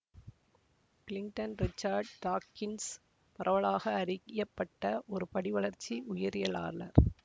Clinton Richard Dawkins பரவலாக அறியப்பட்ட ஒரு படிவளர்ச்சி உயிரியலாளர்